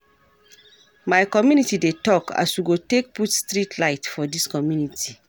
My community dey tok as we go take put street light for dis community.